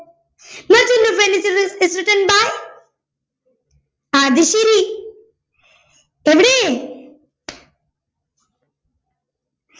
merchant of venice is is written by അത് ശരി എവിടെ